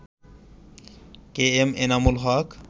KM Enamul Haque